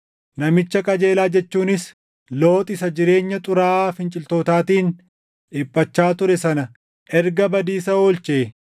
namicha qajeelaa jechuunis Looxi isa jireenya xuraaʼaa finciltootaatiin dhiphachaa ture sana erga badiisa oolchee,